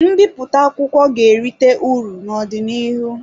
Mbipụta akwụkwọ ga-erite uru n'ọdịnihu.